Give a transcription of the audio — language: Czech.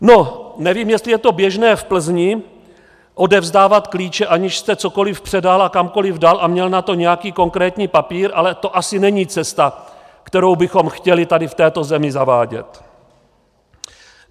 No nevím, jestli je to běžné v Plzni odevzdávat klíče, aniž jste cokoli předal a kamkoli dal a měl na to nějaký konkrétní papír, ale to asi není cesta, kterou bychom chtěli tady v této zemi zavádět.